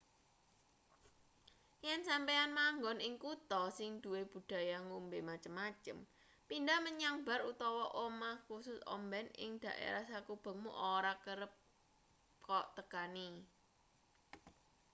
yen sampeyan manggon ing kutha sing duwe budaya ngombe macem-macem pindhah menyang bar utawa omah kusus omben ing dhaerah sakubengmu ora kerep kok tekani